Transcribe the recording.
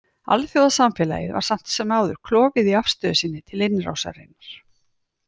Alþjóðasamfélagið var samt sem áður klofið í afstöðu sinni til innrásarinnar.